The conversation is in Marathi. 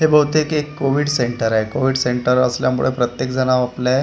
हे बहुतेक एक कोविड सेंटर आहे. कोविड सेंटर असल्यामुळे प्रत्येक जण ओपले --